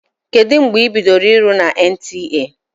Kedụ mgbe ị bidoro ịrụ na NTA?